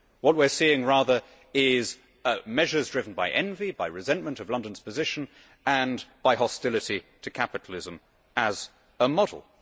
What we are seeing rather is measures driven by envy, by resentment of London's position, and by hostility to capitalism as a model.